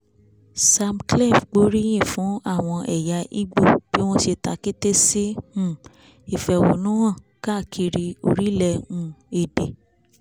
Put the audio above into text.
samklef gbóríyìn fún àwọn ẹ̀yà igbó bí wọ́n ṣe ta kété sí um ìfẹ̀hónú hàn káàkiri orílẹ̀ um èdè